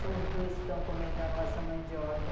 São os dois que estão comendo a nossa mandioca.